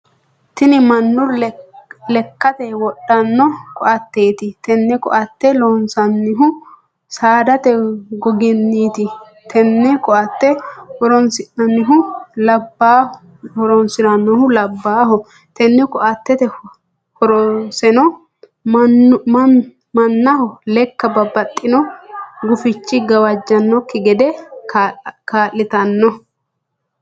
Tinni manu lekate wodhano koateeti. Tenne koate loonsoonnihu saadate goginniiti. Tenne koate horoonsiranohu labaaho. Tenne koateeti horoseno mannaho leka babbaxino gufichi gawajanoki gede kaa'litanno.